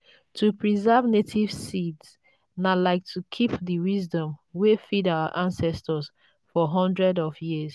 to preserve native seeds na like to keep the wisdom wey feed our ancestors for hundreds of years.